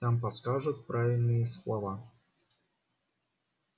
там подскажут правильные слова